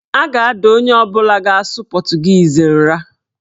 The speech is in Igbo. A ga-ada onye ọbụla ga-asụ pọtụgiizi nra.